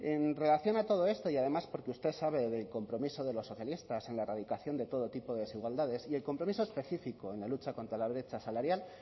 en relación a todo esto y además porque usted sabe del compromiso de los socialistas en la erradicación de todo tipo de desigualdades y el compromiso específico en la lucha contra la brecha salarial